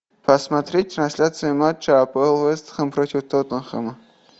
посмотреть трансляцию матча апл вест хэм против тоттенхэма